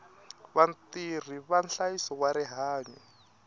vatirhi va nhlayiso wa rihanyo